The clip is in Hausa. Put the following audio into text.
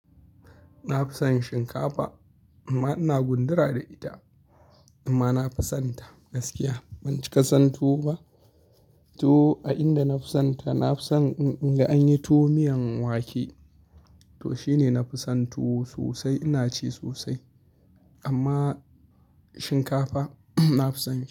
Na fi son shinkafa amma ina gundura da ita amma na fi sonta gaskiya ban cika son tuwo ba. To a inda na fi sonta na fi son in ga an yi tuwo miyan wake. To shine na fi son tuwo sosai ina ci sosai amma shinkafa na fi son ci.